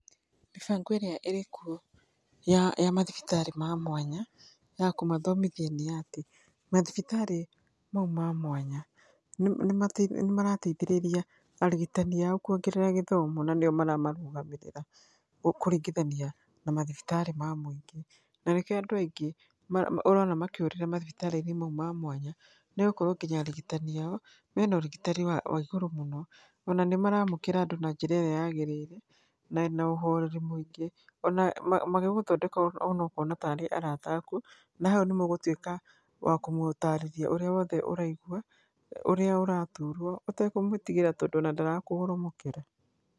Mĩbango ĩrĩa ĩrĩ kuo ya, ya mathibitarĩ ma mwanya ya kũmathomithia nĩatĩ mathibitarĩ mau ma mwanya nĩ, nĩma, nĩmarateithĩrĩria arigitani ao kwongerera gĩthomo na nĩo maramarũgamĩrĩra kũringithania na mathibitarĩ ma mũingĩ. Na nĩkĩo andũ aingĩ maro, ũrona makĩũrĩra mathibitarĩ-inĩ mau ma mwanya nĩgũkorwo nginya arigitani ao mena ũrigitani wa, wa igũrũ mũno. Ona nĩmaramũkĩra andũ na njĩra ĩrĩa yagĩrĩire na ĩna ũhoreri mũingĩ, ona ma, magĩgũthondeka ona ũkona tarĩ arata aku na hau nĩmũgũtuĩka wa kũmũtarĩria ũrĩa wothe ũraigua, ũrĩa ũraturwo ũtekũmwĩtigĩra tondũ ona ndarakũgoromokera.